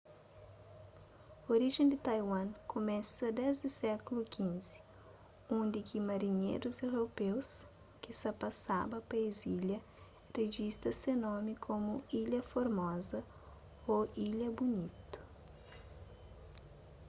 orijen di taiwan kumesa desdi sékulu xv undi ki marinherus europeus ki sa ta pasaba pa es ilha rijista se nomi komu ilha formoza ô ilha bunitu